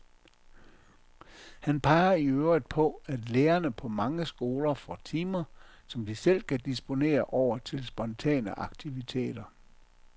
Han peger i øvrigt på, at lærerne på mange skoler får timer, som de selv kan disponere over til spontane aktiviteter.